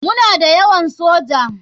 Muna da yawan soji.